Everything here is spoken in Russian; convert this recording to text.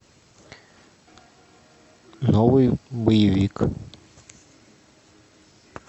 новый боевик